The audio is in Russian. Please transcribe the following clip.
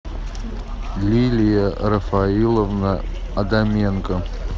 лилия рафаиловна адаменко